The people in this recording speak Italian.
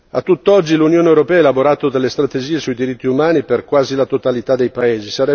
A tutt'oggi l'Unione europea ha elaborato delle strategie sui diritti umani per quasi la totalità dei paesi.